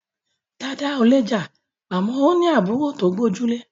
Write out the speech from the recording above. Dada ò lè jà àmọ́ ó ní àbúrò tó gbójú.